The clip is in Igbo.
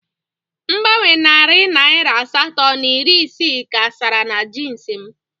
Mgbanwe Naira narị asatọ na iri isii ka sara na jeans m.